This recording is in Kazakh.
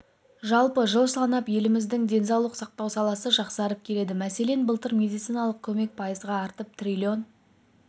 жалпы жыл санап еліміздің денсаулық сақтау саласы жақсарып келеді мәселен былтыр медициналық көмек пайызға артып триллион